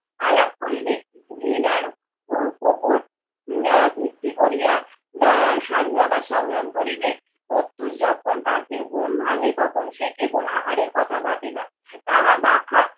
আলাপ করিবে? ঘৃণার উ উপর উম ভিত্তি করিয়া দা স্বাধীনতার সংগ্রাম করিবে? প্রত্যুষ যখন পাখির ঘুম ভাঙ্গে তখন সে কেবল আহারের কথা ভাবে না, তাহার পাখা